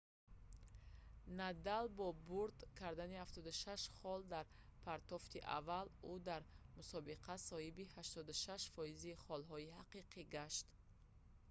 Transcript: надал бо бурд кардани 76 хол дар партофти аввал ӯ дар мусобиқа соҳиби 88%‑и холҳои ҳақиқӣ гашт